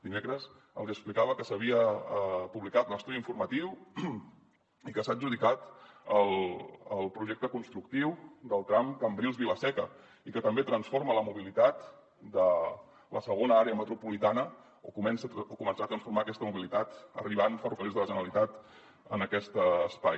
dimecres els hi explicava que s’havia publicat l’estudi informatiu i que s’ha adjudicat el projecte constructiu del tram cambrils vila seca i que també transforma la mobilitat de la segona àrea metropolitana o començar a transformar aquesta mobilitat arribant ferrocarrils de la generalitat en aquest espai